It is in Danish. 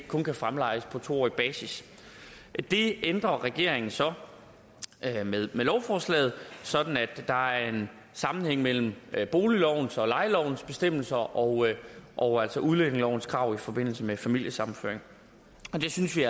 kun kan fremlejes på to årig basis det ændrer regeringen så med lovforslaget sådan at der er en sammenhæng mellem boliglovens og lejelovens bestemmelser og og altså udlændingelovens krav i forbindelse med familiesammenføring det synes vi